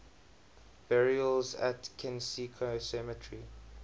burials at kensico cemetery